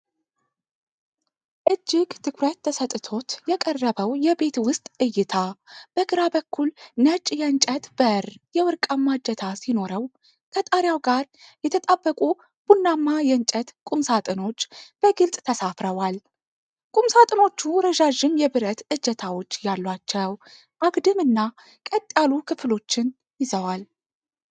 እጅግ ትኩረት ተሰጥቶት የቀረበው የቤት ውስጥ እይታ፣ በግራ በኩል ነጭ የእንጨት በር የወርቅማ እጀታ ሲኖረው፣ ከጣሪያው ጋር የተጣበቁ ቡናማ የእንጨት ቁምሳጥኖች በግልጽ ተሰፍረዋል። ቁምሳጥኖቹ ረዣዥም የብረት እጀታዎች ያሏቸው፣ አግድም እና ቀጥ ያሉ ክፍሎችን ይዘዋል።